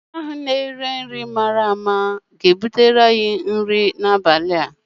onye na-ere nri mara mma ga-ebuga nri abalị a.